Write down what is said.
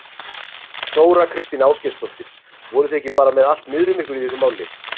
Þóra Kristín Ásgeirsdóttir: Voruð þið ekki bara með allt niður um ykkur í þessu máli?